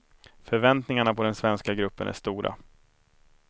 Förväntningarna på den svenska gruppen är stora.